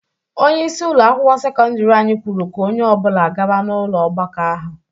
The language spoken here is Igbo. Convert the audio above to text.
Onyeisi ụlọ akwụkwọ sekọndiri anyị kwuru ka onye ọbụla gaba n'ụlọ ọgbakọ ahụ.